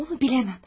Onu biləməm.